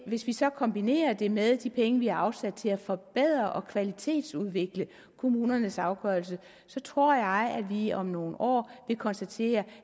hvis vi så kombinerer det med de penge vi har afsat til at forbedre og kvalitetsudvikle kommunernes afgørelser så tror jeg at vi om nogle år vil konstatere